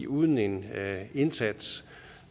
uden en indsats